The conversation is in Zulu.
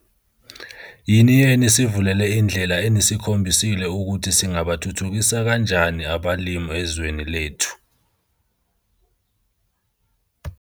"Yini enisivulele indlela enisikhombisile ukuthi singabathuthukisa kanjani abalimi ezwini lethu".